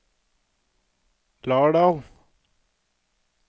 Lardal